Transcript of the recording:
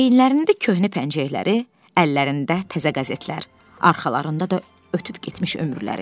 Əyinlərində köhnə pəncəkləri, əllərində təzə qəzetlər, arxalarında da ötüb getmiş ömürləri.